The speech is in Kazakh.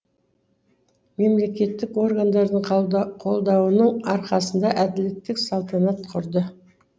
мемлекеттік органдардың қолдауының арқасында әділдік салтанат құрды